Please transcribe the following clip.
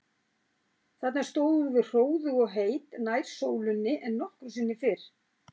Þarna stóðum við hróðug og heit, nær sólinni en nokkru sinni fyrr.